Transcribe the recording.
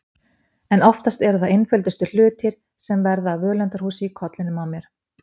En oftast eru það einföldustu hlutir sem verða að völundarhúsi í kollinum á mér.